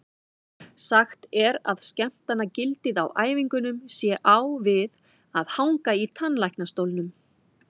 Sagt er að skemmtanagildið á æfingunum sé á við að hanga í tannlæknastólnum.